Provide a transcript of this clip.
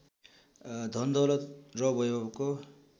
धनदौलत र वैभवको